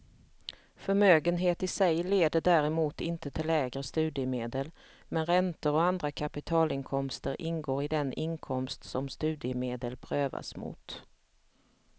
Förmögenhet i sig leder däremot inte till lägre studiemedel, men räntor och andra kapitalinkomster ingår i den inkomst som studiemedel prövas mot.